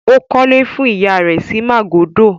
Ó kọ́lé fún ìyá rẹ̀ sí Màgódò?